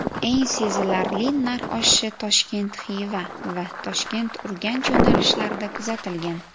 Eng sezilarli narx oshishi Toshkent–Xiva va Toshkent–Urganch yo‘nalishlarida kuzatilgan.